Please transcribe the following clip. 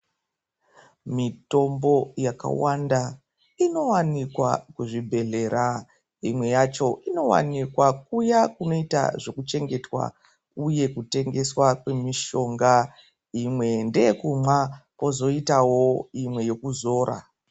Mitombo yakawanda inowanika kuzvibhehleya imweyacho inowanikwa kuya kunoita zvekuchengeta uye kutengeswa kwemishonga imwe ndeyekumwa kwozoitawo yekuzora.